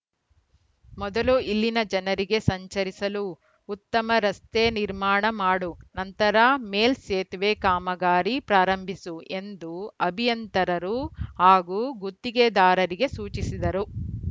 ಮೊದಲು ಇಲ್ಲಿನ ಜನರಿಗೆ ಸಂಚರಿಸಲು ಉತ್ತಮ ರಸ್ತೆ ನಿರ್ಮಾಣ ಮಾಡು ನಂತರ ಮೇಲ್‌ ಸೇತುವೆ ಕಾಮಗಾರಿ ಪ್ರಾರಂಭಿಸು ಎಂದು ಅಭಿಯಂತರರು ಹಾಗೂ ಗುತ್ತಿಗೆದಾರರಿಗೆ ಸೂಚಿಸಿದರು